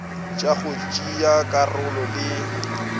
tša go tšea karolo le